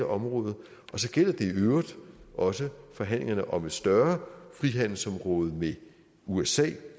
område og så gælder det i øvrigt også forhandlingerne om et større frihandelsområde med usa